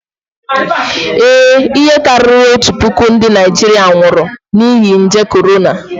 Ee, ihe karịrị otu puku ndị Naịjirịa nwụrụ n'ihi nje korona